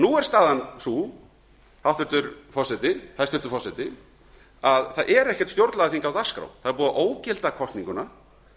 nú er staðan sú hæstvirtur forseti að það er ekkert stjórnlagaþing á dagskrá það er búið að ógilda kosninguna